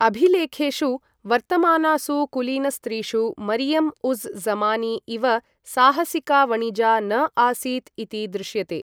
अभिलेखेषु वर्तमानासु कुलीनस्त्रीषु मरियम् उज़् ज़मानी इव साहसिका वणिजा न आसीत् इति दृश्यते।